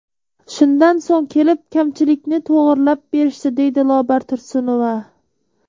Shundan so‘ng kelib, kamchilikni to‘g‘irlab berishdi”, deydi Lobar Tursunova.